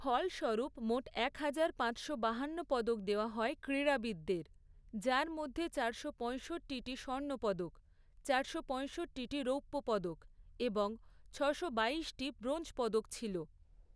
ফলস্বরূপ মোট একহাজার, পাঁচশো, বাহান্ন পদক দেওয়া হয় ক্রীড়াবিদদের, যার মধ্যে চারশো পয়ষট্টিটি স্বর্ণ পদক, চারশো পয়ষট্টিটি রৌপ্য পদক এবং ছশো বাইশটি ব্রোঞ্জ পদক ছিল।